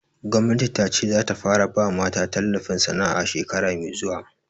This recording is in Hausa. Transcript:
Gwamnati ta ce za ta fara ba mata tallafin sana'a shekara mai zuwa